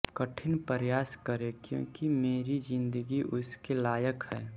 कठिन प्रयास करें क्योंकि मेरी ज़िंदगी इसके लायक है